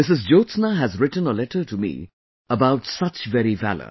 Jyotsna has written a letter to me about very such valor